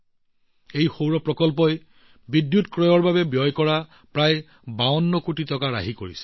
এই সৌৰ প্ৰকল্পৰ জৰিয়তে বিদ্যুৎ ক্ৰয়ৰ ক্ষেত্ৰতো প্ৰায় ৫২ কোটি টকা ৰাহি হৈছে